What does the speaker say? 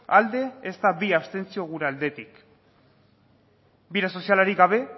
alde ezta bi abstentzio gure aldetik bide sozialarik gabe